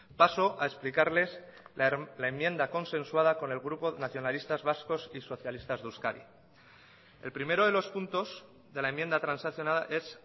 paso a explicarles la enmienda consensuada con el grupo nacionalistas vascos y socialistas de euskadi el primero de los puntos de la enmienda transaccionada es